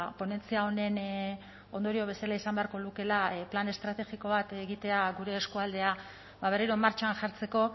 ponentzia honen ondorio bezala izan beharko lukeela plan estrategiko bat egitea gure eskualdea berriro martxan jartzeko